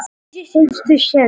Valgeir, hvað er í matinn?